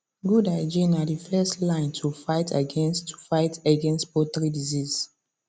good hygiene na the first line to fight against to fight against poultry disease